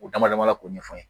U damadama la k'o ɲɛfɔ n ye